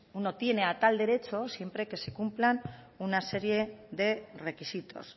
uno tiene a tal derecho siempre que se cumplan una serie de requisitos